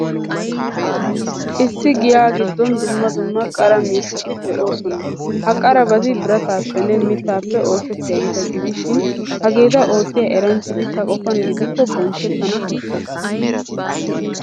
Issi giya giddon dumma dumma qara miishshati de'oosona. Ha qarabati birataappenne mittaappe oosettiyaageeta gidishin, hageeta oottiyaa eranchchati ta qofan gidikko bonchchettana koshshees.